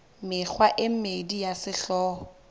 mekgwa e mmedi ya sehlooho